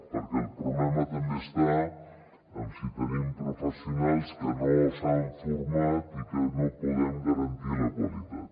perquè el problema també està en si tenim professionals que no s’han format i que no podem garantir ne la qualitat